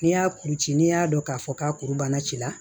N'i y'a kuru ci n'i y'a dɔn k'a fɔ k'a kuru banna ci la